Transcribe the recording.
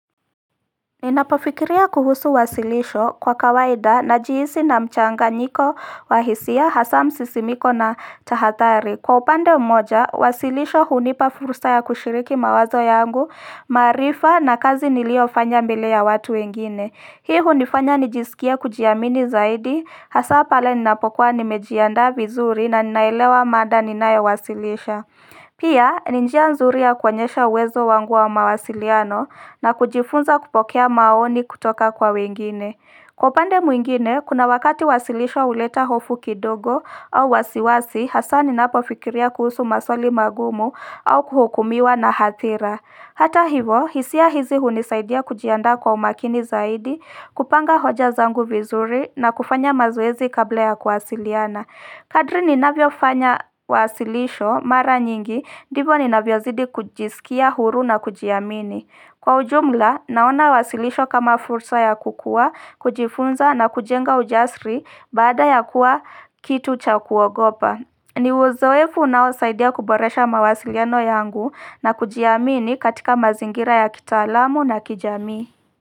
Ninapofikiria kuhusu wasilisho kwa kawaida na jiisi na mchanga nyiko wahisia hasa msisimiko na tahatari Kwa upande mmoja wasilisho hunipa furusa ya kushiriki mawazo yangu maarifa na kazi nilio fanya mbele ya watu wengine Hii hunifanya nijisikie kujiamini zaidi hasa pale ninapokuwa nimejiandaa vizuri na ninaelewa mada ninayowasilisha Pia, ninjia nzuri ya kuonyesha uwezo wangu wa mawasiliano na kujifunza kupokea maoni kutoka kwa wengine. Kwa upande mwingine, kuna wakati wasilisho uleta hofu kidogo au wasiwasi hasa ninapo fikiria kuhusu maswali magumu au kuhukumiwa na hathira. Hata hivo, hisia hizi hunisaidia kujiandaa kwa umakini zaidi, kupanga hoja zangu vizuri na kufanya mazoezi kabla ya kuwasiliana. Kadri ninavyo fanya wasilisho mara nyingi, divo ninavyo zidi kujisikia huru na kujiamini. Kwa ujumla, naona wasilisho kama fursa ya kukua, kujifunza na kujenga ujasri baada ya kuwa kitu cha kuogopa. Ni uzoefu unao saidia kuboresha mawasiliano yangu na kujiamini katika mazingira ya kita alamu na kijamii.